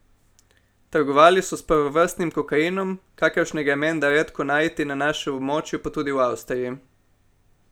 Trgovali so s prvovrstnim kokainom, kakršnega je menda redko najti na našem območju, pa tudi v Avstriji.